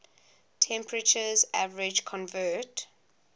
temperatures average convert